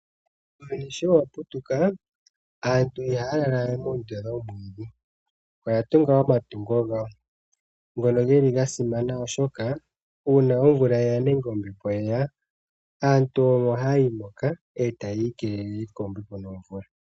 Uuyuni sho wa putuka, aantu ihaya lala we moondunda dhoomwiidhi, oya tunga omatungo gawo, ngono geli ga simana oshoka una omvula yeya nenge ombepo yeya, aantu omo haya yi moka, e taya ikelele kombepo nomvula.